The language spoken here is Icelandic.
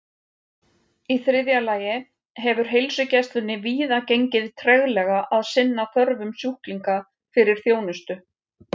Í þriðja lagi hefur heilsugæslunni víða gengið treglega að sinna þörfum sjúklinga fyrir þjónustu.